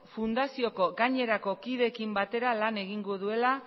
fundazioko gainerako kideekin batera lan egingo duela